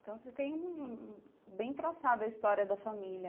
Então, você tem... Bem traçada a história da família.